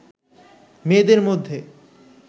মেয়েদের মধ্যে